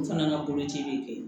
O fana ka koci bɛ kɛ